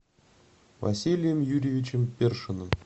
василием юрьевичем першиным